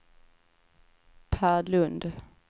Pär Lund